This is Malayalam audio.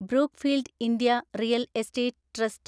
Brookfield India real estate trust